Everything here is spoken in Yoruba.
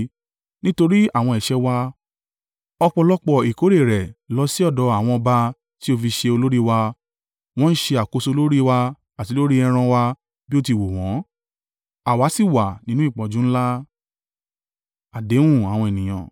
Nítorí àwọn ẹ̀ṣẹ̀ wa, ọ̀pọ̀lọpọ̀ ìkórè rẹ lọ sí ọ̀dọ̀ àwọn ọba tí ó fi ṣe olórí wa. Wọ́n ń ṣe àkóso lórí wa àti lórí ẹran wa bí ó ti wù wọ́n, àwa sì wà nínú ìpọ́njú ńlá.